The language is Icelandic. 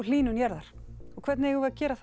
hlýnun jarðar og hvernig eigum við að gera